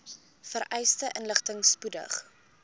vereiste inligting spoedig